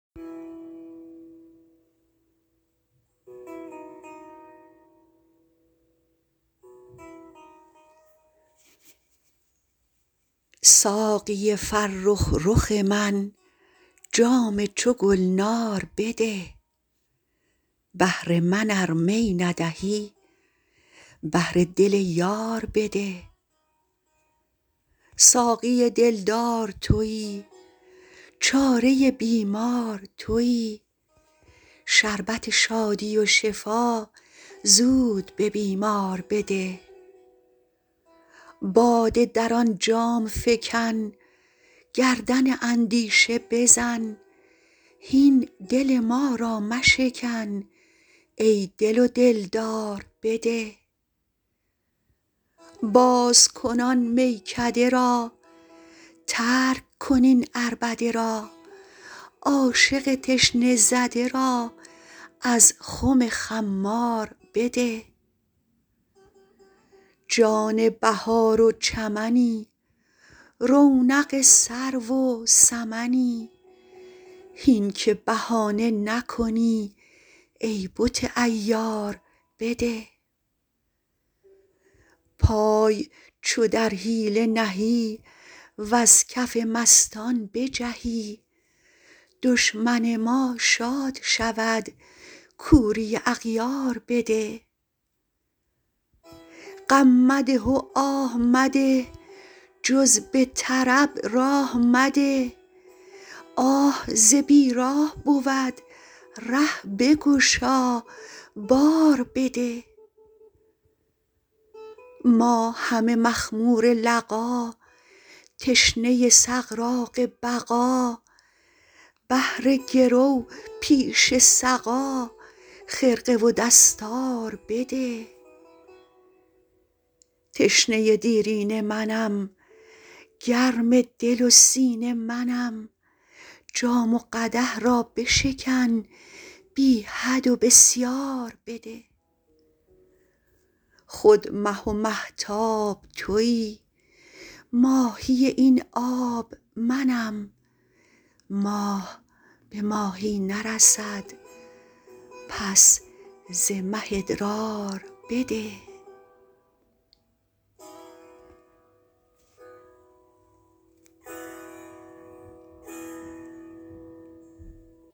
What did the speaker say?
ساقی فرخ رخ من جام چو گلنار بده بهر من ار می ندهی بهر دل یار بده ساقی دلدار توی چاره بیمار توی شربت شادی و شفا زود به بیمار بده باده در آن جام فکن گردن اندیشه بزن هین دل ما را مشکن ای دل و دلدار بده باز کن آن میکده را ترک کن این عربده را عاشق تشنه زده را از خم خمار بده جان بهار و چمنی رونق سرو و سمنی هین که بهانه نکنی ای بت عیار بده پای چو در حیله نهی وز کف مستان بجهی دشمن ما شاد شود کوری اغیار بده غم مده و آه مده جز به طرب راه مده آه ز بیراه بود ره بگشا بار بده ما همه مخمور لقا تشنه سغراق بقا بهر گرو پیش سقا خرقه و دستار بده تشنه دیرینه منم گرم دل و سینه منم جام و قدح را بشکن بی حد و بسیار بده خود مه و مهتاب توی ماهی این آب منم ماه به ماهی نرسد پس ز مه ادرار بده